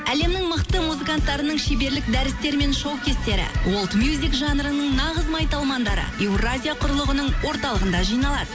әлемнің мықты музыканттарының шеберлік дәрістері мен шоу кестері жанрының нағыз майталмандары евразия құрылғының орталығында жиналады